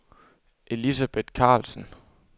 Elisabeth Karlsen